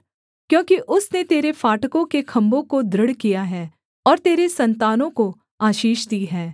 क्योंकि उसने तेरे फाटकों के खम्भों को दृढ़ किया है और तेरे सन्तानों को आशीष दी है